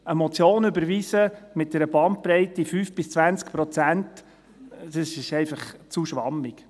– Eine Motion mit einer Bandbreite von 5–20 Prozent zu überweisen, dies ist einfach zu schwammig.